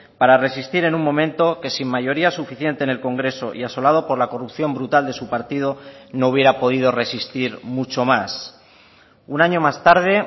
para resistir en un momento que sin mayoría suficiente en el congreso y asolado por la corrupción brutal de su partido no hubiera podido resistir mucho más un año más tarde